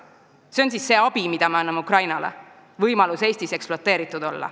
See ongi siis abi, mida me anname Ukrainale – võimalus olla Eestis ekspluateeritud.